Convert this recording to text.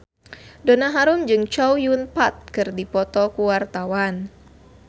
Donna Harun jeung Chow Yun Fat keur dipoto ku wartawan